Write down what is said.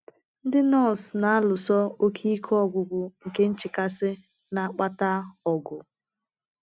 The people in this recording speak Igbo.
Ndị nọọsụ na-alụso oké ike ọgwụgwụ nke nchekasị na - akpata ọgụ.